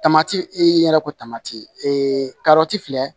Tamati i yɛrɛ ko tamati ee karɔti filɛ